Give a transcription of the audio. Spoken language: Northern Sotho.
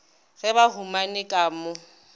ge ba humane ka mo